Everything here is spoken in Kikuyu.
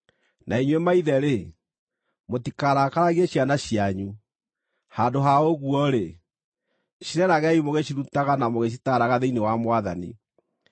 Na inyuĩ maithe-rĩ, mũtikarakaragie ciana cianyu; handũ ha ũguo-rĩ, cireragei mũgĩcirutaga na mũgĩcitaaraga thĩinĩ wa Mwathani.